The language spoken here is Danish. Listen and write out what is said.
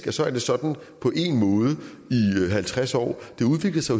at så er det sådan på én måde i halvtreds år det udvikler sig